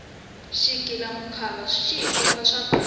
xighila mukhuva xi hikomba swa kahle